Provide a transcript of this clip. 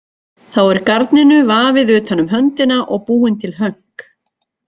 Þá er garninu vafið utan um höndina og búin til hönk.